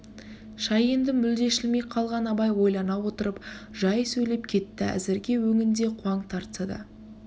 шай енді мүлде ішілмей қалған абай ойлана отырып жай сөйлеп кетті әзіргі өңінде қуаң тартса да